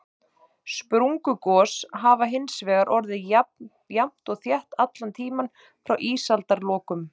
Sprungugos hafa hins vegar orðið jafnt og þétt allan tímann frá ísaldarlokum.